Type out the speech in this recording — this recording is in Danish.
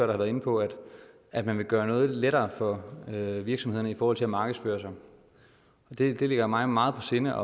været inde på at man vil gøre noget lettere for virksomhederne i forhold til at markedsføre sig det ligger mig meget på sinde